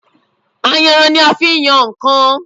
Ayanran ni a fi ń yan nǹkan